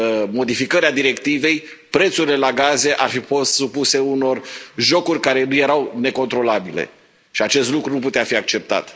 modificări a directivei, prețurile la gaze ar fi fost supuse unor jocuri care erau necontrolabile și acest lucru nu putea fi acceptat.